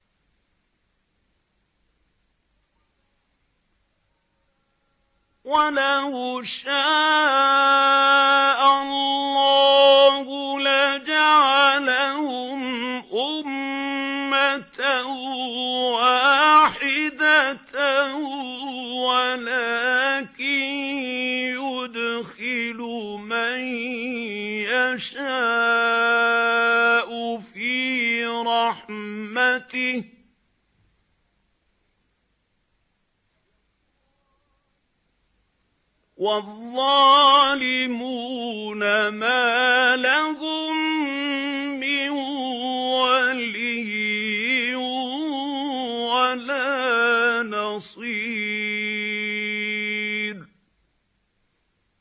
وَلَوْ شَاءَ اللَّهُ لَجَعَلَهُمْ أُمَّةً وَاحِدَةً وَلَٰكِن يُدْخِلُ مَن يَشَاءُ فِي رَحْمَتِهِ ۚ وَالظَّالِمُونَ مَا لَهُم مِّن وَلِيٍّ وَلَا نَصِيرٍ